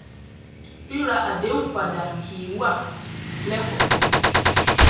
ríra àdéhùn padà kì í wà lẹkọọkan